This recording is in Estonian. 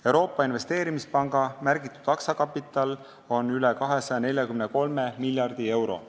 Euroopa Investeerimispanga märgitud aktsiakapital on üle 243 miljardi euro.